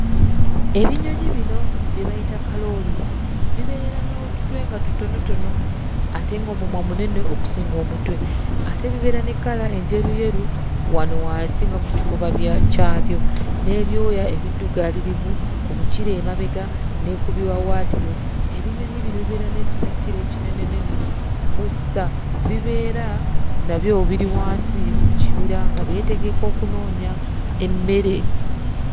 Ebinyonyi bino bye bayita kalooli bibeera n'otutwe nga tutonotono ate ng'omumwa munene okusinga omutwe. Ate bibeera ne kkala enjeruyeru wano wansi nga ku kifuba kyabyo, n'ebyoya ebiddugaalirivu ku mukira emabega ne ku biwaawaatiro. Ebinyonyi bino bibeera n'ebisakkiro ekinenenene kw'ossa bibeera nabyo biri wansi mu kibira nga byetegeka okunoonya emmere.